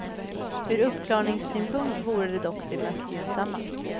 Ur uppklarningssynpunkt vore det dock det mest gynnsamma.